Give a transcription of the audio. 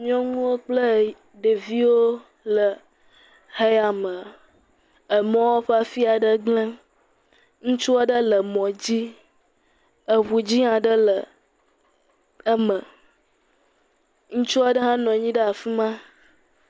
Nyɔnuwo kple ɖeviwo le mɔ ya me, emɔ̃a ƒe afia ɖe gble, ŋutsua ɖe le mɔ dzi, eŋu dzɛ aɖe le eme, ŋutsu aɖe ha nɔ anyi ɖe afima.